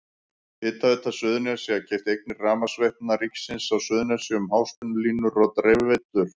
Hitaveita Suðurnesja keypti eignir Rafmagnsveitna ríkisins á Suðurnesjum, háspennulínur og dreifiveitur.